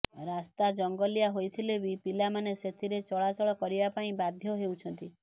ରାସ୍ତା ଜଙ୍ଗଲିଆ ହୋଇଥିଲେ ବି ପିଲାମାନେ ସେଥିରେ ଚଳାଚଳ କରିବା ପାଇଁ ବାଧ୍ୟ ହେଉଛନ୍ତି